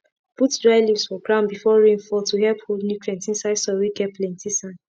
put dry leaves for ground before rain fall to help hold nutrients inside soil whey get plenty sand